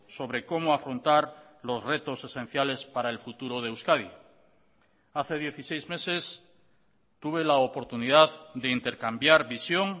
sobre como afrontar los retos esenciales para el futuro de euskadi hace dieciséis meses tuve la oportunidad de intercambiar visión